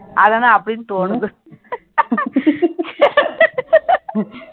அதெல்லாம் அப்படின்னு தோணுது